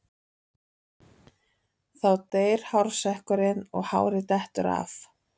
Þá deyr hársekkurinn og hárið dettur af.